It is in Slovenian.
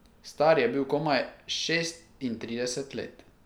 Star je bil komaj šestintrideset let.